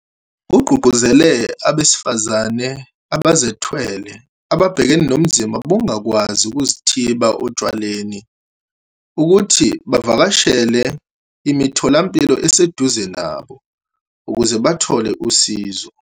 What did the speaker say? Ugqugquzele abesifazane abazethwele ababhekene nobunzima bokungakwazi ukuzithiba otshwaleni ukuthi bavakashele imitho lampilo eseduze nabo ukuze bezothola usizo.